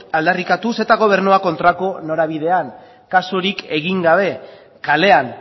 aldarrikatuz eta gobernua kontrako norabidean kasurik egin gabe kalean